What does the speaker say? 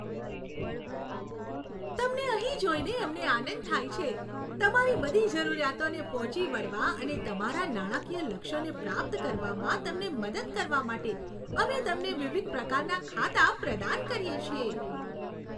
તમને અહીં જોઈને અમને આનંદ થાય છે. તમારી બધી જરૂરિયાતોને પહોંચી વળવા અને તમારા નાણાકીય લક્ષ્યોને પ્રાપ્ત કરવામાં તમને મદદ કરવા માટે, અમે તમને વિવિધ પ્રકારનાં ખાતાં પ્રદાન કરીએ છીએ.